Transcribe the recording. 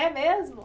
É mesmo?